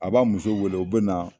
A b'a muso wele u bɛ na.